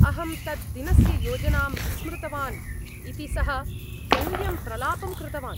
अहं तद्दिनस्य योजनां विस्मृतवान् इति सः व्यङ्ग्यं प्रलापं कृतवान्।